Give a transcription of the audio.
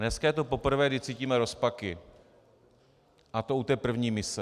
Dneska je to poprvé, kdy cítíme rozpaky, a to u té první mise.